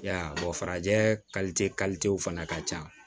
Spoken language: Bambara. I y'a ye farajɛ fana ka ca